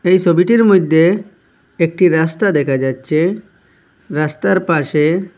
এই সবিটির মইধ্যে একটি রাস্তা দেখা যাচ্ছে রাস্তার পাশে--